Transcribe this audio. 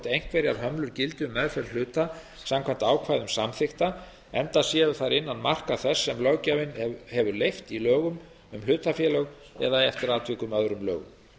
einhverjar hömlur gildi um meðferð hluta samkvæmt ákvæðum samþykkta enda séu þær innan marka þess sem löggjafinn hefur leyft í lögum um hlutafélög eða eftir atvikum öðrum lögum